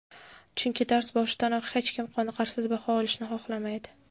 chunki dars boshidanoq hech kim qoniqarsiz baho olishni xohlamaydi.